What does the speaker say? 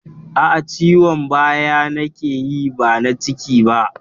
Aa, Ciwon baya na ke yi ba na ciki ba